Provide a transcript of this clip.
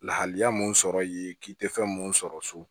Lahalaya mun sɔrɔ yen k'i tɛ fɛn mun sɔrɔ so